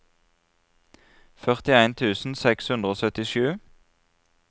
førtien tusen seks hundre og syttisju